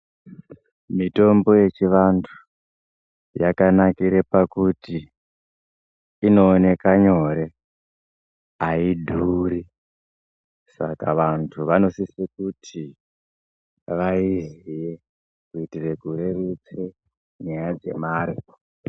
Mitombo yechivantu yakanakira pakuti inooneka nyore haidhuri. Saka vantu vanosise kuti vaiziye kuitire kureruse nyaya dzemare.